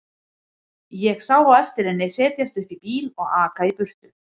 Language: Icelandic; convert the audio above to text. Ég sá á eftir henni setjast upp í bíl og aka í burtu.